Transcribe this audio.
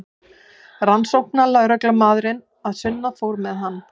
Rannsóknarlögreglumaðurinn að sunnan fór með hann.